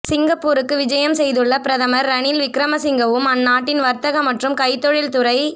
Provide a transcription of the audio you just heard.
சிங்கப்பூருக்கு விஜயம் செய்துள்ள பிரதமர் ரணில் விக்கிரமசிங்கவும் அந்நாட்டின் வர்த்தக மற்றும் கைத்தொழில்துறை